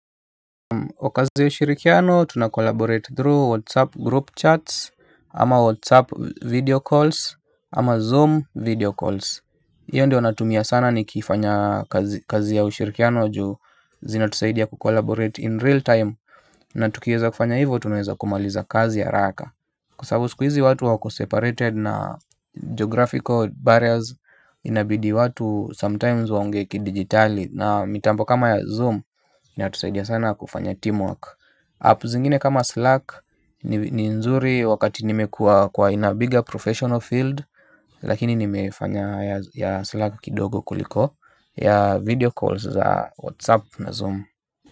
Wakati ushirikiano tunakolaborate through whatsapp group chats ama whatsapp video calls ama zoom video calls. Hiyo ndio natumia sana ni kifanya kazi ya ushirikiano juu zinatusaidia kukolaborate in real time. Na tukiweza kufanya hivo tunaeza kumaliza kazi haraka. Kwa sababu siku hizi watu wako separated na geographical barriers inabidi watu sometimes waonge ki digitali. Na mitambo kama ya Zoom ni hatusaidia sana kufanya teamwork Apps ingine kama Slack ni nzuri wakati nimekua kwa inabigger professional field. Lakini nimefanya ya Slack kidogo kuliko ya video calls za WhatsApp na Zoom.